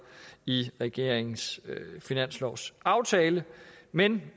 i regeringens finanslovsaftale men